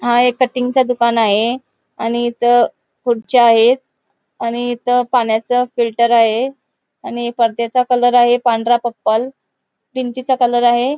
हा एक कटिंग चा दुकान आहे आणि इथ खुर्च्या आहेत आणि इथं पाण्याचं फिल्टर आहे आणि पडद्याचा कलर आहे पांढरा पर्पल भिंतीचा कलर आहे.